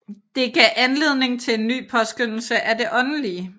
Det gav anledning til en ny påskønnelse af det åndelige